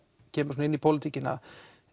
kemur svona inn í pólitíkina